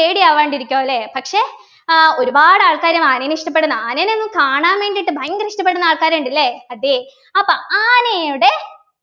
പേടിയാവണ്ടിരിക്കോ ല്ലേ പക്ഷേ ആഹ് ഒരുപാട് ആൾക്കാര് ആനേനെ ഇഷ്ടപ്പെടുന്നു ആനേനെ ഒന്ന് കാണാൻ വേണ്ടിയിട്ട് ഭയങ്കര ഇഷ്ടപ്പെടുന്ന ആൾക്കാരുണ്ട് ല്ലെ അതെ അപ്പൊ ആനയുടെ